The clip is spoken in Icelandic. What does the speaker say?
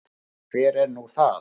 Hver er nú það?